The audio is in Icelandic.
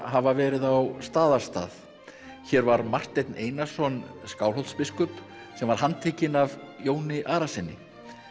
hafa verið á Staðarstað hér var Marteinn Einarsson Skálholtsbiskup sem var handtekinn af Jóni Arasyni